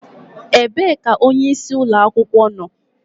Ebee ka onyeisi ụlọ akwụkwọ nọ?